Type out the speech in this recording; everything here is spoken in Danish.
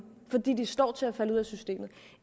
fordi de står til at falde ud af systemet